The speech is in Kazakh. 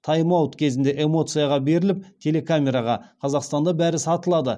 тайм аут кезінде эмоцияға беріліп телекамераға қазақстанда бәрі сатылады